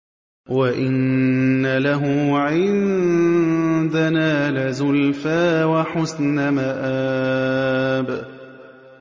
وَإِنَّ لَهُ عِندَنَا لَزُلْفَىٰ وَحُسْنَ مَآبٍ